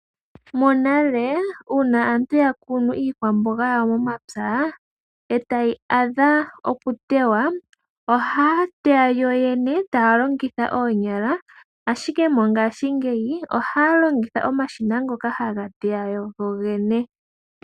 Monale uuna aantu yakunu iikwamboga yawo moma pya etayi adha oku tewa, ohaya teya yooyene taya longitha oonyala, ashike mongashingeyi ohaya longitha omashina ngoka haga teya gogene.